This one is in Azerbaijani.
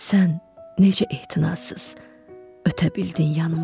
Sən necə ehtinazsız ötə bildin yanımdan?